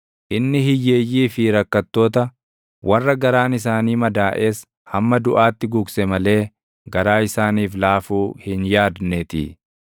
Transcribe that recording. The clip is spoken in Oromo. Inni hiyyeeyyii fi rakkattoota, warra garaan isaanii madaaʼes hamma duʼaatti gugse malee garaa isaaniif laafuu hin yaadneetii.